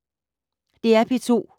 DR P2